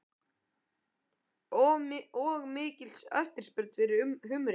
Og mikil eftirspurn eftir humri?